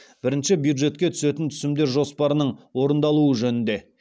бірінші бюджетке түсетін түсімдер жоспарының орындалуы жөнінде